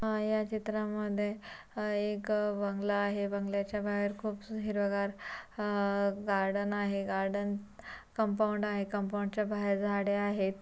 अ या चित्रा मध्ये अह एक बगला आहे. बगल्याच्या बाहेर खूप स हिरवेगार अह गार्डन आहे गार्डन कपाऊड आहे. कपाऊड च्या बाहेर झाडे आहेत.